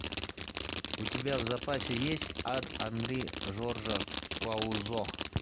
у тебя в запасе есть ад анри жоржа клузо